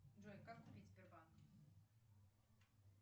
джой как купить сбербанк